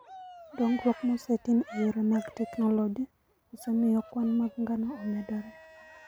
Dongruok mosetim e yore mag teknoloji osemiyo kwan mag ngano omedore.